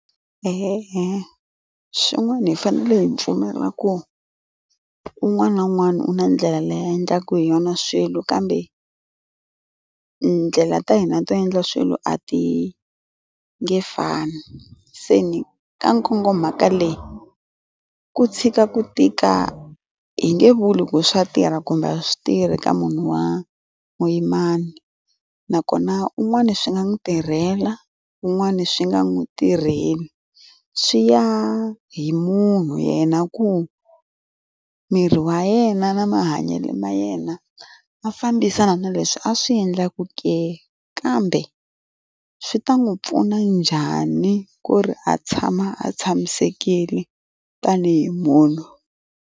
E-e swin'wana hi fanele hi pfumelela ku un'wana na un'wana u na ndlela laya endlaku hi yona swilo kambe ndlela ta hina to endla swilo a ti nge fani se ni ka nkogo mahaka leyi ku tshika ku tika hi nge vulungu swa tirha kumbe swi tirhi ka munhu wa muyimani nakona un'wana swi nga n'wi tirhela wun'wani swi nga n'wi tirheli swi ya hi munhu yena ku miri wa yena na mahanyelo ma yena a fambisana na leswi a swi endlaku ke kambe swi ta n'wi pfuna njhani ku ri a tshama a tshamisekile tanihi munhu.